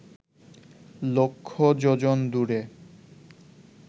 লক্ষ যোজন দূরে